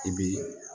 I bi